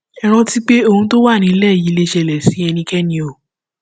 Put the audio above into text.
ẹ rántí pé ohun tó wà nílẹ yìí lè ṣẹlẹ sí ẹnikẹni o